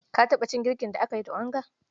Ka taɓa cin girkin da aka yi da onga?